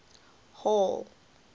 hall